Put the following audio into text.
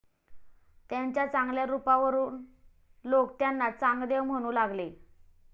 त्यांच्या चांगल्या रुपावरुन लोक त्यांना चांगदेव म्हणू लागले.